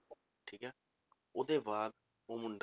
ਠੀਕ ਹੈ ਉਹਦੇ ਬਾਅਦ ਉਹ ਮੁੰਡਾ